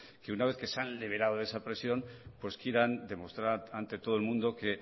que una vez que se han liberado de esa presión pues quieran demostrar ante todo el mundo que